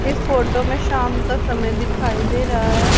इस फोटो में शाम का समय दिखाई दे रहा है।